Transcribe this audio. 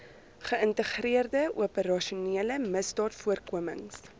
geïntegreerde operasionele misdaadvoorkomings